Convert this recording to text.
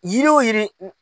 Yiri wo yiri .